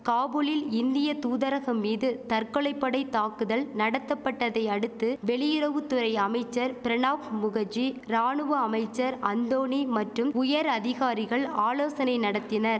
காபூலில் இந்திய தூதரகம் மீது தற்கொலை படை தாக்குதல் நடத்தபட்டதை அடுத்து வெளியுறவு துறை அமைச்சர் பிரணாப் முகர்ஜி ராணுவ அமைச்சர் அந்தோணி மட்டும் உயர் அதிகாரிகள் ஆலோசனை நடத்தினர்